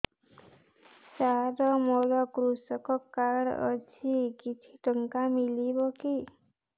ସାର ମୋର୍ କୃଷକ କାର୍ଡ ଅଛି କିଛି ଟଙ୍କା ମିଳିବ କି